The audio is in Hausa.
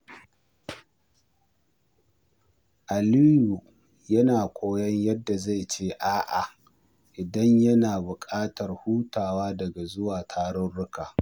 Aliyu yana koyon yadda zai ce a’a idan yana bukatar hutawa daga zuwa tarurruka.